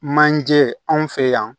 Manje anw fe yan